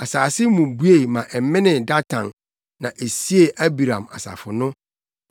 Asase mu bue ma ɛmenee Datan na esiee Abiram asafo no.